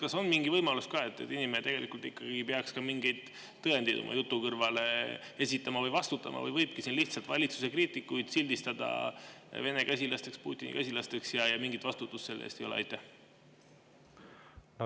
Kas on mingi võimalus, et inimene ikkagi peaks ka mingeid tõendeid oma jutu kõrvale esitama ja ta peaks vastutama, või võibki siin lihtsalt valitsuse kriitikuid sildistada Vene käsilasteks, Putini käsilasteks, ja mingit vastutust selle eest ei ole?